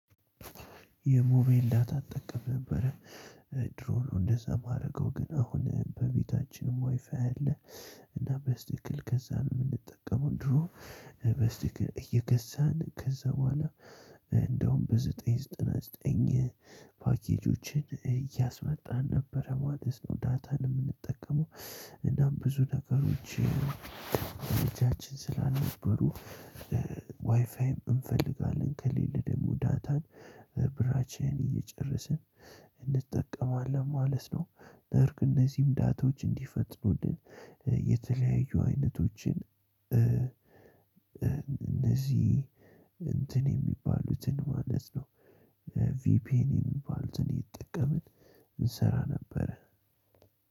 የሞባይል ዳታ እጠቀም ነበረ። ድሮ ነው እንደዛ የማደርገው ግን አሁን በቤታችን ዋይፋይ አለ። እና በስልክ እየገዛን ነው የምንጠቀመው ድሮ በስልክ እየገዛን ከዛ በኋላ እንደውም በዘጠኝ ዘጠና ዘጠኝ ፓኬጆችን እያስመጣን ነበር ማለት ነው። ዳታን የምንጠቀመው እናም ብዙ ነገሮች በእጃችን ስላልነበሩ ዋይፋይም ብንፈልግ አለን። ከሌለን ደግሞ ዳታንብራችንን እየጨረስን እንጠቀማለን ማለት ነው። ነገር ግን እነዚህም ዳታዎች እንዲፈጥኑልን የተለያዩ አይነቶችን እንደዚህ እንትን የሚባሉትን ማለት ነው። ቪፒኤን የሚባሉትን እየተጠቀምን እንሰራ ነበር